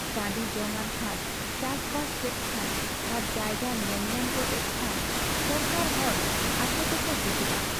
ᱴᱟᱺᱰᱤᱡᱚᱝ ᱟᱱ ᱠᱷᱟᱱ ᱪᱟᱥᱵᱟᱥ ᱠᱮᱫ ᱠᱷᱟᱱ ᱟᱨ ᱡᱟᱭᱜᱟ ᱧᱮᱞ ᱧᱟᱢ ᱜᱚᱫ ᱮᱱ ᱠᱷᱟᱱ ᱥᱚᱨᱠᱟᱨ ᱦᱚᱲ ᱟᱠᱚᱛᱮᱠᱚ ᱦᱤᱡᱩᱜᱼᱟ ᱾